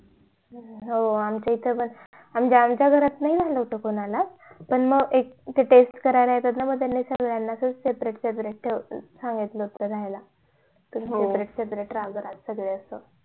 हो आमच्या इथे पणम्हणजे आमच्या घरात नई झालं होत कोणाला पण म ते test करायला येतात ना त्यांनी सगळ्यांना separate separate ठेवलं सांगितलं होत राह्यला separate separate रहा असं